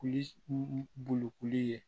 Kuli bolokoli ye